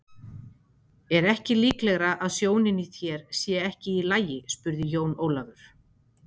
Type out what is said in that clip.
Er ekki líklegara að sjónin í þér sé ekki í lagi spurði Jón Ólafur.